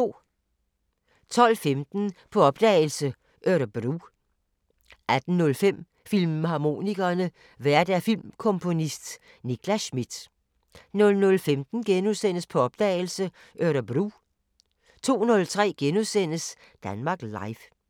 12:15: På opdagelse – Örebro 18:05: Filmharmonikerne: Vært filmkomponist Nicklas Schmidt 00:15: På opdagelse – Örebro * 02:03: Danmark Live *